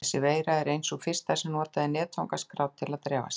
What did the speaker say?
Þessi veira var ein sú fyrsta sem notaði netfangaskrá til að dreifa sér.